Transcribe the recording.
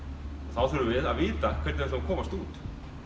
þá þurfum við að vita hvernig við ætlum að komast út